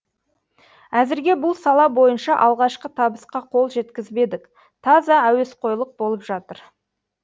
әзірге бұл сала бойынша алғашқы табысқа қол жеткізбедік таза әуесқойлық болып жатыр